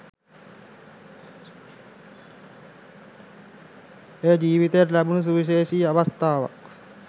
එය ජීවිතයට ලැබුණු සුවිශේෂී අවස්ථාවක්